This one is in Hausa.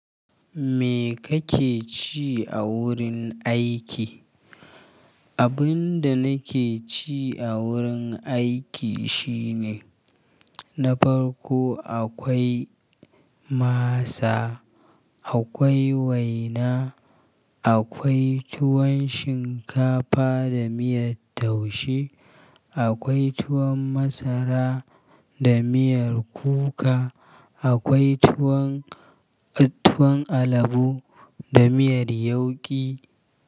Me kake ci a wurin aiki? Abin da nake ci a wurin aiki shine, na farko akwai masa, akwai waina, akwai tuwon shinkafa da miyar taushe, akwai tuwon masara da miyar kuka, akwai tuwon, tuwon alabu da miyar yauki.